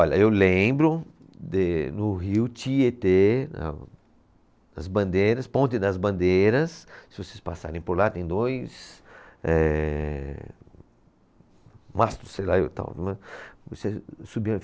Olha, eu lembro de no rio Tietê, na, nas bandeiras, Ponte das Bandeiras, se vocês passarem por lá, tem dois ehh, mastros, sei lá e tal, né. Você